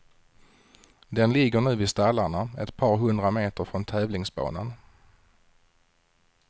Den ligger nu vid stallarna, ett par hundra meter från tävlingsbanan.